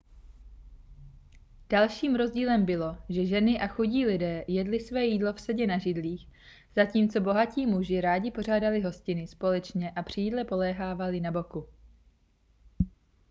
dalším rozdílem bylo že ženy a chudí lidé jedli své jídlo vsedě na židlích zatímco bohatí muži rádi pořádali hostiny společně a při jídle polehávali na boku